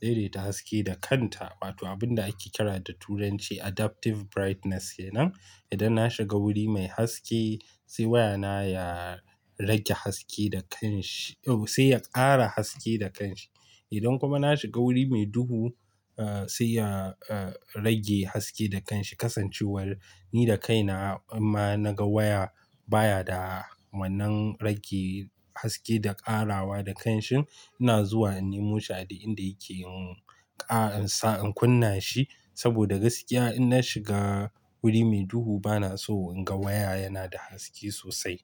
daidaita haske da kanta, wato abun da ake kira da Turanci Adaptive Brightness kenan. Idan na shiga wuri mai haske sai wayana ya rage haske da kanshi, oh sai ya ƙara haske da kanshi. Idan kuma na shiga wuri mai duhu, eh sai ya eh rage haske da kanshi kasancewar ni da kaina in ma naga waya baya da wannan rage haske da ƙarawa da kanshin, ina zuwa in nemo sha'adi inda yake yin ƙara in sa in kunna shi. Saboda gaskiya idan na shiga wuri mai duhu bana so in ga waya yana da haske sosai.